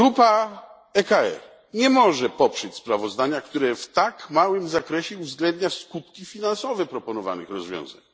Grupa ECR nie może poprzeć sprawozdania, które w tak małym zakresie uwzględnia skutki finansowe proponowanych rozwiązań.